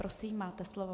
Prosím, máte slovo.